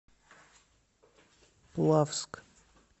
плавск